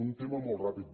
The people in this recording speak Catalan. un tema molt ràpid